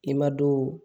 Ni madon